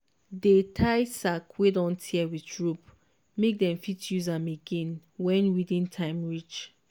dey tie sack wey don tear with rope make dem fit use am again wen weeding time reach.